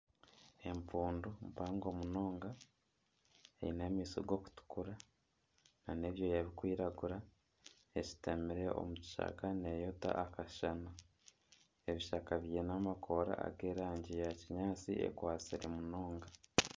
Empundu mpango munonga eine amaisho gakutukura nana ebyooya bikwiragura eshutamire omu kishaka neyota akashana. Ebishaka byiine amakoora g'erangi ya kinyaatsi ekwatsire munonga.